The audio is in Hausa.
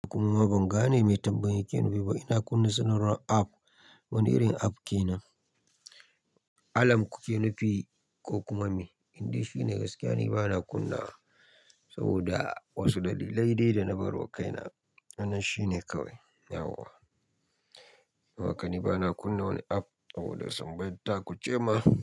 Kuma ban gane mai tambayan yake nufi ba. Ina kunna sanarwar app, wane irin app kenan? Alam kuke nufi ko kuma me? Indai shine gaskiya ni bana kunna saboda wasu dalilai dai dana barwa kaina. Nan shine kawai, yawwa. Don haka ni bana kunna wani app saboda sanba daku ce ma.